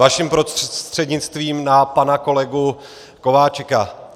Vaším prostřednictvím na pana kolegu Kováčika.